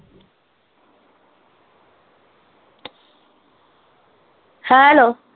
hello